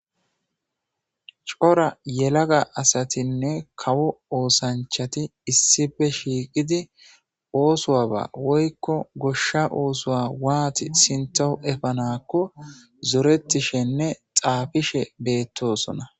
cora yelaga asatinne kawo oosanchati issife shiiqidi oosuwa ba woykko goshsha oosuwa waati sintohu efanakko zorettishenne xaafishe beettosona